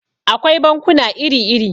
Akwai bankuna iri-iri.